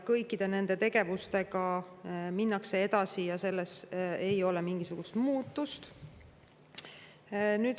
Kõikide nende tegevustega minnakse edasi ja siin ei ole mingisugust muutust.